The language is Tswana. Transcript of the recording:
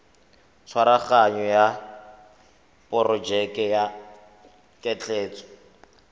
tshwaraganyo ya porojeke ya ketleetso